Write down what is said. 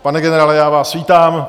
Pane generále, já vás vítám.